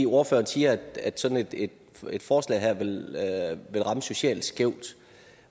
ordføreren siger at sådan et et forslag her ville ramme socialt skævt